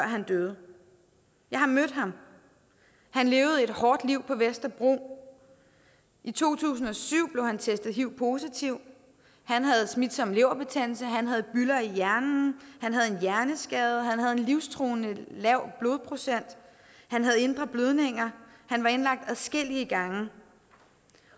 han døde jeg har mødt ham han levede et hårdt liv på vesterbro i to tusind og syv blev han testet hiv positiv han havde smitsom leverbetændelse han havde bylder i hjernen han havde en hjerneskade han havde en livstruende lav blodprocent han havde indre blødninger han var indlagt adskillige gange